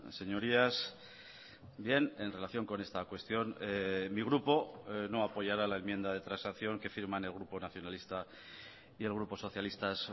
señorías bien en relación con esta cuestión mi grupo no apoyará la enmienda de transacción que firman el grupo nacionalista y el grupo socialistas